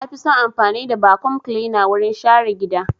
Na fi son amfani da vacuum cleaner wurin share gida.